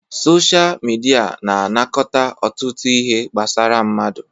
Sochaa midia na anakọta ọtụtụ ihe gbasara mmadụ.